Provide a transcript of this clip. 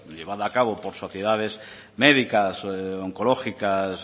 llevada a cabo por sociedades médicas oncológicas